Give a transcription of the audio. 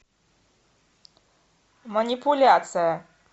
манипуляция